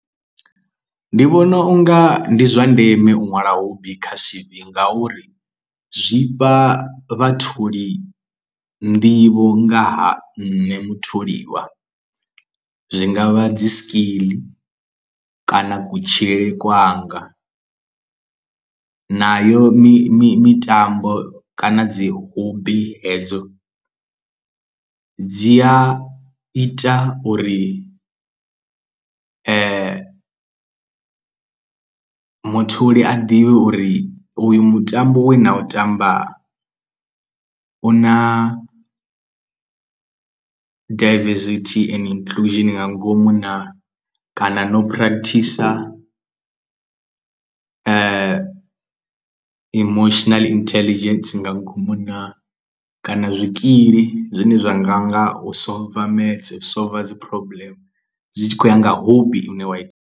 Ndi vhona unga ndi zwa ndeme u ṅwala hobby kha C_V ngauri zwifha vhatholi nḓivho nga ha nṋe mutholiwa zwi nga vha dzi skill kana kutshilele kwanga nayo mi mi mitambo kana dzi hub hedzo dzi a ita uri mutholi a ḓivhe uri uyu mutambo we na u tamba u na daivesithi and inclusion nga ngomu naa, kana no practicer emotional intelligence nga ngomu naa kana zwikili zwine zwa nga nga u solver maths, u solver dzi problem zwi tshi khou ya nga hobby ine wa ita.